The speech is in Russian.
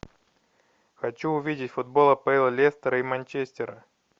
хочу увидеть футбол апл лестера и манчестера